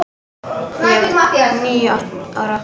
Ég var níu ára.